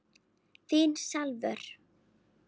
Þín Salvör.